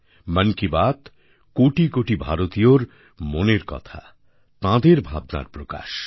মন কি বাত কোটি কোটি ভারতীয়র মনের কথা তাঁদের ভাবনার প্রকাশ